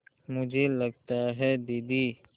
मुझे लगता है दीदी